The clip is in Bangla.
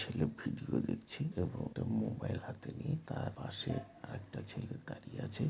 ছেলে ভিডিও দেখছে এবং একটি মোবাইল হাতে নিয়ে তার পাশে আর একটা ছেলে দাঁড়িয়ে আছে।